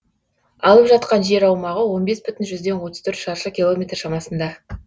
алып жатқан жер аумағы он бес бүтін жүзден отыз төртшаршы километр шамасында